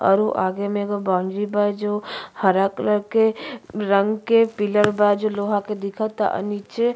औरु आगे में एगो बाउंजी बा जो हरा कलर के रंग के पिलर बा जो लोहा के दिखता। अ नीचे --